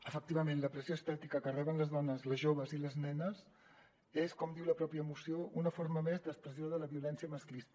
efectivament la pressió estètica que reben les dones les joves i les nenes és com diu la pròpia mo·ció una forma més d’expressió de la violència masclista